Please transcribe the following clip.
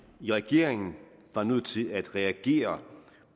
i regeringen var nødt til at reagere